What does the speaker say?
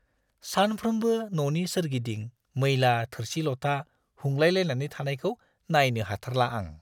सानफ्रोमबो न'नि सोरगिदिं मैला थोरसि-लथा हुंलायलायनानै थानायखौ नायनो हाथारला आं।